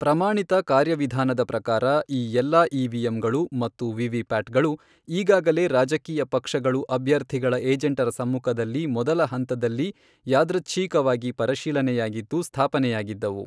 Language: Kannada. ಪ್ರಮಾಣಿತ ಕಾರ್ಯವಿಧಾನದ ಪ್ರಕಾರ ಈ ಎಲ್ಲಾ ಇವಿಎಂಗಳು ಮತ್ತು ವಿವಿಪ್ಯಾಟ್ ಗಳು ಈಗಾಗಲೇ ರಾಜಕೀಯ ಪಕ್ಷಗಳು ಅಭ್ಯರ್ಥಿಗಳ ಏಜೆಂಟರ ಸಮ್ಮುಖದಲ್ಲಿ ಮೊದಲ ಹಂತದಲ್ಲಿ ಯಾದೃಚ್ಛೀಕವಾಗಿ ಪರಿಶೀಲನೆಯಾಗಿದ್ದು, ಸ್ಥಾಪನೆಯಾಗಿದ್ದವು.